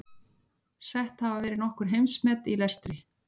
Sett hafa verið nokkur heimsmet í lestri.